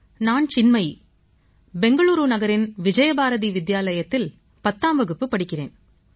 நான் சின்மயீ பெங்களூரு நகரின் விஜயபாரதி வித்யாலயத்தில் பத்தாம் வகுப்பு படிக்கிறேன்